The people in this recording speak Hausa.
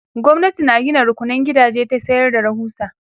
gwamnati na Gina rukunan gidaje ta sayar da rahusa